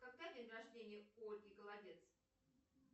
когда день рождения у ольги голодец